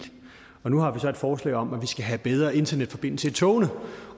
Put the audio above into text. og nu har vi så et forslag om at vi skal have bedre internetforbindelse i togene